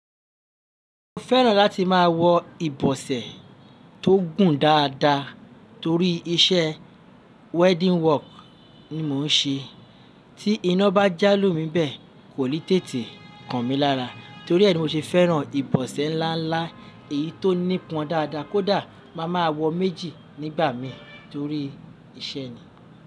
Mo fẹ́ràn láti máa wọ ìbọ̀sẹ̀ tó gùn dáadáa torí iṣẹ́ wedding work ni mò ń ṣe. Tí iná bá já lù mí bẹ́ẹ̀, kò lè tètè kan mí lára. Torí ẹ ni mo ṣe fẹ́ràn ìbọ̀sẹ̀ ńlá ńlá èyí tó nípọn dáadáa kó dà máa máa wọ méjì nígbà mi torí iṣẹ́ ni.